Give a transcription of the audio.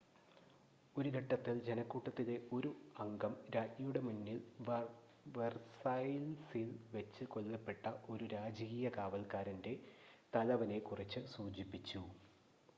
ഒരു ഘട്ടത്തിൽ ജനക്കൂട്ടത്തിലെ 1 അംഗം രാജ്ഞിയുടെ മുന്നിൽ വെർസൈൽസിൽ വെച്ച് കൊല്ലപ്പെട്ട ഒരു രാജകീയ കാവൽക്കാരൻ്റെ തലവനെ കുറിച്ച് സൂചിപ്പിച്ചു